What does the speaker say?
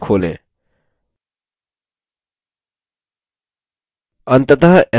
अंतत sql command window के बारे में सीखते हैं